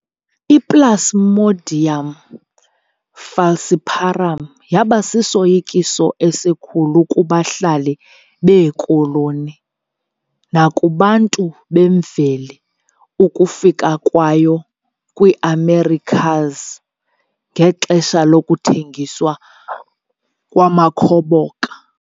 I-Plasmodium falciparum yabasisoyikiso esikhulu kubahlali beekoloni nakubantu bemveli ukufika kwayo kwiiAmericas ngexesha lokuthengiswa kwamakhoboka.